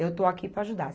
Eu estou aqui para ajudar.